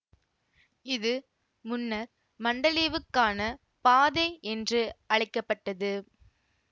இது முன்னர் மண்டலிவுக்கான பாதை என்று அழைக்க பட்டது